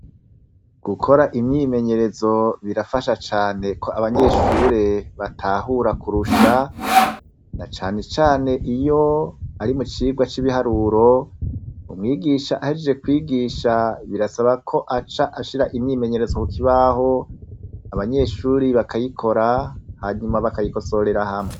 Gukora imyimenyerezo birafasha cane ko abanyeshure batahura kurusha; na cane cane iyo ari mu cigwa c'ibiharuro, umwigisha ahejeje kwigisha birasaba ko aca ashira imyimenyerezo kukibaho abanyeshuri bakayikora, hanyuma bakayikosorera hamwe.